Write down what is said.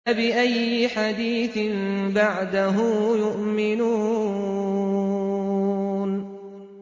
فَبِأَيِّ حَدِيثٍ بَعْدَهُ يُؤْمِنُونَ